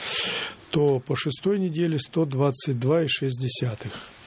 то по шестой неделе сто двадцать два и шесть десятых